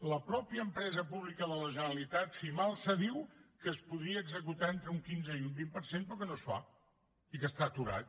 la mateixa empresa pública de la generalitat cimalsa diu que es podria executar entre un quinze i un vint per cent però que no es fa i que està aturat